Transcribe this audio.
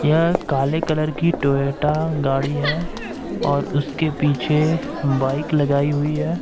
काले कलर की टोयोटा गाड़ी है और उसके पीछे बाइक लगाई हुई है।